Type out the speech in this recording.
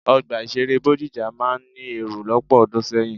Ọgbà ìṣeré Bódìjà máa ń ní èrò lọ́pọ̀ ọdún sẹ́yìn.